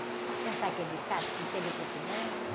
Você não sabe aquele ditado, se o conselho fosse bom, né?